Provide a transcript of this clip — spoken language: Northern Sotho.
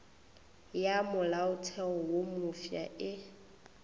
ya molaotheo wo mofsa e